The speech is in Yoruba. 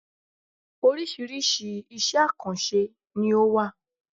Oríṣiríṣi iṣẹ̀ àkànṣe ni ó wà.